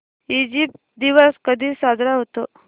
Egypt दिवस कधी साजरा होतो